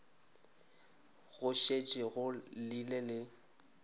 go šetše go llile le